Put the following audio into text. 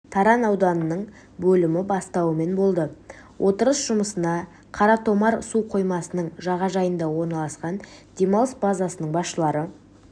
таран ауданының бөлімі бастауымен болды отырыс жұмысына қаратомар су қоймасының жағажайында орналасқан демалыс базасының басшылары